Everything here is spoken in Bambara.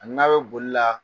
Ani n'a bɛ bolila